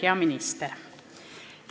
Hea minister!